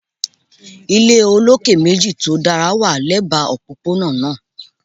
Ile ile oloke meji to dara wa lẹba opopona naa